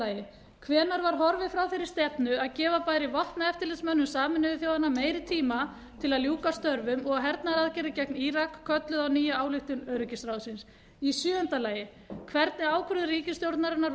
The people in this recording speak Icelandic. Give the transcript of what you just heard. f hvenær var horfið frá þeirri stefnu að gefa bæri vopnaeftirlitsmönnum sameinuðu þjóðanna meiri tíma til að ljúka störfum og að hernaðaraðgerðir gegn írak kölluðu á nýja ályktun öryggisráðsins g hvernig ákvörðun ríkisstjórnarinnar var